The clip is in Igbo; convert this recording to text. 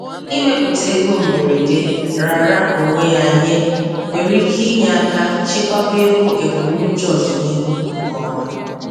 Ịmepụta ego mberede raara onwe ya nye nwere ike inye aka chekwaba ego ebumnuche ọdịnihu nke ọma.